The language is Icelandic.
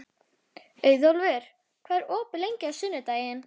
Auðólfur, hvað er opið lengi á sunnudaginn?